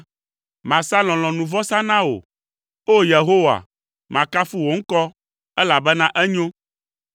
Masa lɔlɔ̃nuvɔsa na wò, O! Yehowa, makafu wò ŋkɔ, elabena enyo.